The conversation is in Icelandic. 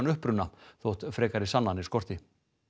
uppruna þótt frekari sannanir skorti